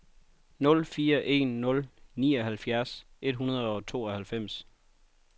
nul fire en nul nioghalvfjerds et hundrede og tooghalvfems